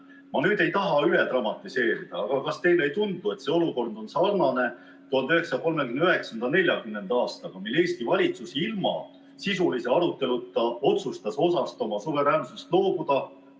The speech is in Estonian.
Ma ei taha üle dramatiseerida, aga kas teile ei tundu, et see olukord on sarnane 1939. ja 1940. aastaga, kui Eesti valitsus ilma sisulise aruteluta otsustas loobuda osast oma suveräänsusest?